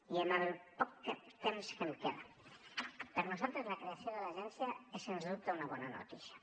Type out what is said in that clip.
i amb el poc temps que em queda per a nosaltres la creació de l’agència és sens dubte una bona notícia